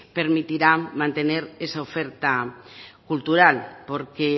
permitirá mantener esa oferta cultural porque